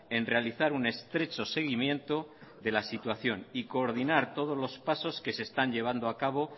en realizar un estrecho seguimiento de la situación y coordinar todos los pasos que se están llevando acabo